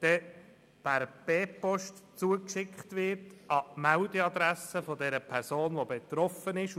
per B-Post an die Meldeadresse der Person zugestellt wird.